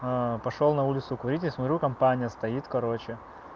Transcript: пошёл на улицу курить и смотрю там таня стоит короче